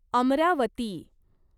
Amravati